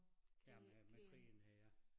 Ja med med krigen øh ja